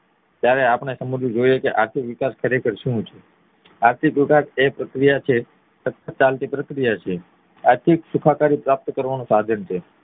જયારે આપણે સમજવું જોઈએ કે આર્થિક વિકાસ ખરેખર શું છે આર્થિક વિકાસ ખરેખર એ પ્રક્રિયા છે આર્થિક સુખાકારી પ્રાપ્ત કરવા નું સાધન છે